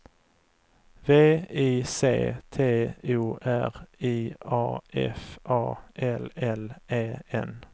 V I C T O R I A F A L L E N